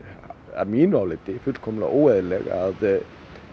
að mínu áliti fullkomlega óeðlileg að